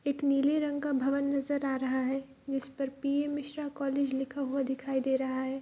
एक नीले रंग का भवन नजर आ रहा है जिस पर पी.एम. मिश्रा कॉलेज लिखा हुआ दिखाई दे रहा है।